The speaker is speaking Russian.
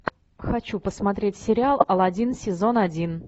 хочу посмотреть сериал алладин сезон один